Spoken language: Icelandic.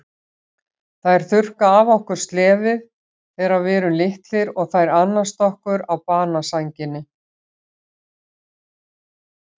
Þær þurrka af okkur slefið þegar við erum litlir og þær annast okkur á banasænginni.